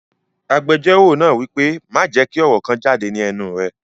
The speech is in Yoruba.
Agbẹjọ́rò náà wípé, "Má jẹ́ kí ọ̀rọ̀ kan jáde ní ẹnu rẹ!"